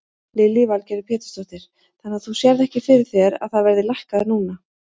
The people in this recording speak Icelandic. Lillý Valgerður Pétursdóttir: Þannig að þú sérð ekki fyrir þér að það verði lækkað núna?